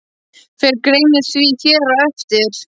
Fer greinin því hér á eftir.